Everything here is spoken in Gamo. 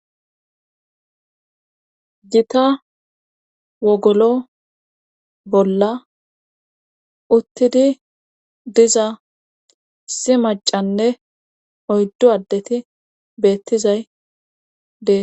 Gita wogolo bolla uttidi diza issi maccanne oyddu addeti beettizay dee.